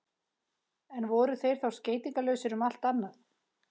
en voru þeir þá skeytingarlausir um allt annað